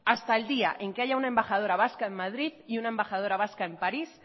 hasta el día en que haya una embajadora vasca en madrid y una embajadora vasca en parís